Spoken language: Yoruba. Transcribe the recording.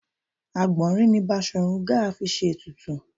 Àgbọ̀nrín ni Basọ̀run Gáà fi ṣe ètùtù